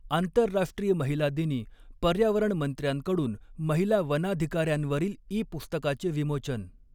आंतरराष्ट्रीय महिला दिनी पर्यावरण मंत्र्यांकडून महिला वनाधिकांऱ्यांवरील ई पुस्तकाचे विमोचन